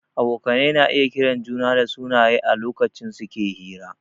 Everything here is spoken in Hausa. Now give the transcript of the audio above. Abokai na iya kiran juna dasunaye a lokacin suke hira